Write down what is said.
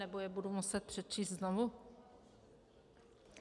Nebo je budu muset přečíst znovu?